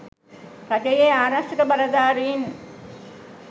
රජයේ ආරක්ෂක බලධාරීන්